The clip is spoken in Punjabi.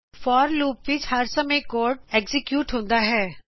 forਲੂਪ ਵਿੱਚ ਹਰ ਸਮੇਂ ਕੋਡ ਸਮਾਪਤ ਹੁੰਦਾ ਹੈ